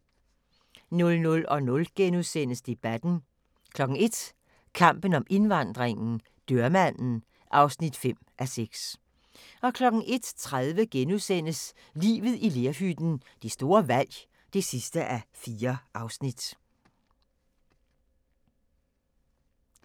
00:00: Debatten * 01:00: Kampen om indvandringen - dørmanden (5:6) 01:30: Livet i lerhytten – det store valg (4:4)*